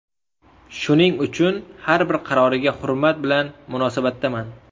Shuning uchun har bir qaroriga hurmat bilan munosabatdaman”.